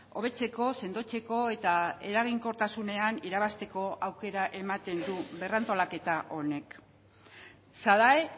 hobetzeko sendotzeko eta eraginkortasunean irabazteko aukera ematen du berrantolaketa honek sadae